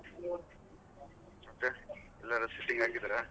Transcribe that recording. ಮತ್ತೆ ಎಲ್ಲರು ಆಗಿದ್ದಾರಾ?